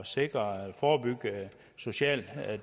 sikre og forebygge social